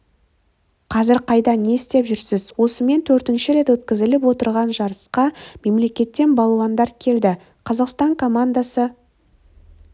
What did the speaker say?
қазір қайда не істеп жүрсіз осымен төртінші рет өткізіліп отырған жарысқа мемлекеттен балуандар келді қазақстан командасы